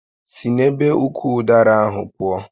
Si n'ebe ukwu ụdara ahụ pụọ!